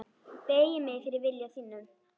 Beygi mig fyrir vilja þínum.